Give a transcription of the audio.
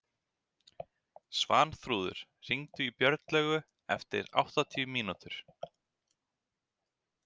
Svanþrúður, hringdu í Björnlaugu eftir áttatíu mínútur.